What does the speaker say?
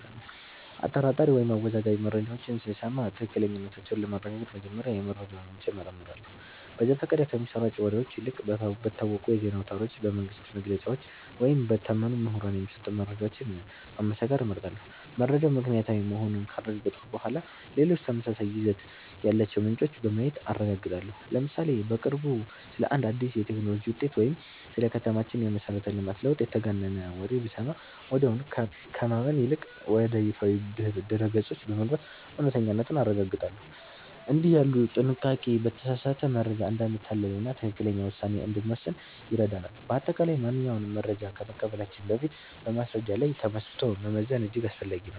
አጠራጣሪ ወይም አወዛጋቢ መረጃዎችን ስሰማ ትክክለኛነታቸውን ለማረጋገጥ መጀመሪያ የመረጃውን ምንጭ እመረምራለሁ። በዘፈቀደ ከሚሰራጩ ወሬዎች ይልቅ በታወቁ የዜና አውታሮች፣ በመንግሥት መግለጫዎች ወይም በታመኑ ምሁራን የሚሰጡ መረጃዎችን ማመሳከር እመርጣለሁ። መረጃው ምክንያታዊ መሆኑን ካረጋገጥኩ በኋላ፣ ሌሎች ተመሳሳይ ይዘት ያላቸውን ምንጮች በማየት አረጋግጣለሁ። ለምሳሌ፦ በቅርቡ ስለ አንድ አዲስ የቴክኖሎጂ ውጤት ወይም ስለ ከተማችን የመሠረተ ልማት ለውጥ የተጋነነ ወሬ ብሰማ፣ ወዲያውኑ ከማመን ይልቅ ወደ ይፋዊ ድረ-ገጾች በመግባት እውነተኛነቱን አረጋግጣለሁ። እንዲህ ያለው ጥንቃቄ በተሳሳተ መረጃ እንዳንታለልና ትክክለኛ ውሳኔ እንድንወስን ይረዳናል። በአጠቃላይ፣ ማንኛውንም መረጃ ከመቀበላችን በፊት በማስረጃ ላይ ተመስርቶ መመዘን እጅግ አስፈላጊ ነው።